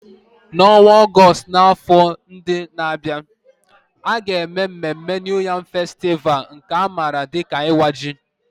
N'ọnwa Ọgọst n'afọ ndị na-abịa, a ga-eme mmemme New Yam Festival, nke a maara dị ka Iwa Ji.